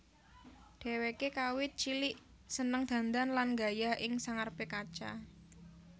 Dheweke kawit cilik seneng dandan lan nggaya ing sangarepe kaca